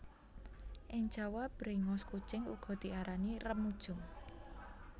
Ing Jawa bréngos kucing uga diarani remujung